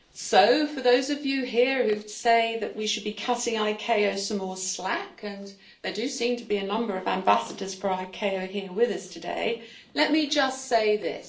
So for those of you here who say that we should be cutting ICAO some more slack and there do seem to be a number of ambassadors for ICAO here with us today let me just say this.